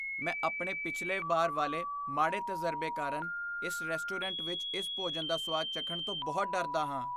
ਮੈਂ ਆਪਣੇ ਪਿਛਲੇ ਬਾਰ ਵਾਲੇ ਮਾੜੇ ਤਜਰਬੇ ਕਾਰਨ ਇਸ ਰੈਸਟੋਰੈਂਟ ਵਿੱਚ ਇਸ ਭੋਜਨ ਦਾ ਸੁਆਦ ਚੱਖਣ ਤੋਂ ਬਹੁਤ ਡਰਦਾ ਹਾਂ।